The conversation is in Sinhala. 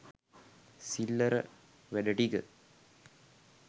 සිල්ලර වැඩ ටික